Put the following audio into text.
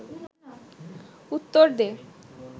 উত্তর দে